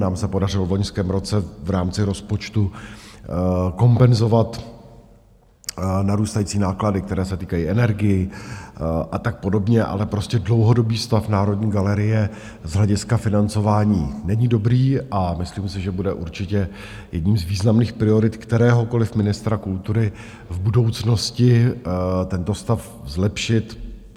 Nám se podařilo v loňském roce v rámci rozpočtu kompenzovat narůstající náklady, které se týkají energií a tak podobně, ale prostě dlouhodobý stav Národní galerie z hlediska financování není dobrý a myslím si, že bude určitě jedním z významných priorit kteréhokoliv ministra kultury v budoucnosti tento stav zlepšit.